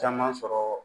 Caman sɔrɔ